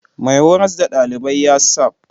Mai horas da ɗalibai yasafmmmń